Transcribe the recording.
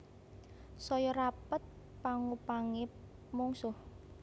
Saya rapet pangupangé mungsuh